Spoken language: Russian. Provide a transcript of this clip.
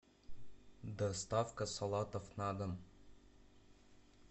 доставка салатов на дом